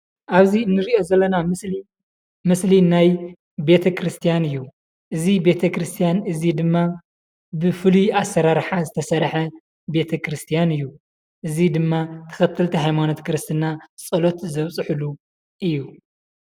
ኣብዚ እንርእዬ ዘለና ምስሊ ምስሊ ናይ ቤተ ክርስትያን እዩ። እዚ ቤተ ክርስትያን እዚ ድማ ብፉሉይ ኣሰራርሓ ዝተሰርሐ ቤተ ክርስትያን እዩ። እዚ ድማ ተኸተልቲ ሃይማኖት ክርስትና ፀሎት ዘብፅሕሉ እዩ ።